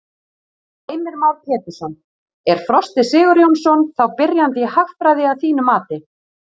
Heimir Már Pétursson: Er Frosti Sigurjónsson þá byrjandi í hagfræði að þínu mati?